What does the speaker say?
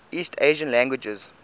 east asian languages